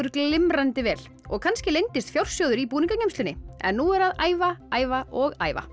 glimrandi vel og kannski leyndist fjársjóður í en nú er að æfa æfa og æfa